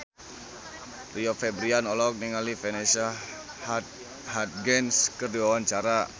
Rio Febrian olohok ningali Vanessa Hudgens keur diwawancara